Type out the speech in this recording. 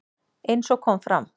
Eins og kom fram